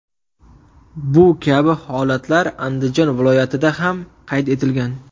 Bu kabi holatlar Andijon viloyatida ham qayd etilgan.